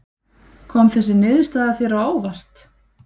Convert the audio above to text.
Kom þessi niðurstaða þér á óvart?